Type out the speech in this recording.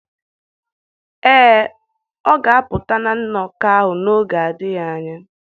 Ee, ọ ga-apụta na nnọkọ ahụ n'oge adịghị anya